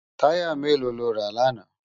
Tàyá méló ló rá làná?